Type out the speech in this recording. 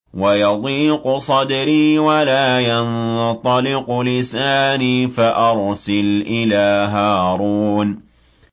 وَيَضِيقُ صَدْرِي وَلَا يَنطَلِقُ لِسَانِي فَأَرْسِلْ إِلَىٰ هَارُونَ